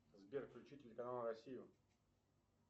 сбер включи телеканал россию